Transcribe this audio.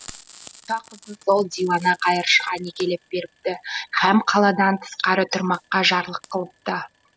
патша қызын сол диуана қайыршыға некелеп беріпті һәм қаладан тысқары тұрмаққа жарлық қылыпты